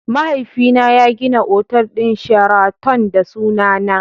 Mahaifina ya gina otal din sheraton da sunana.